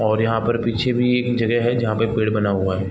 और यहाँ पर पीछे भी एक जगह है जहाँ पर पेड़ बना हुआ है।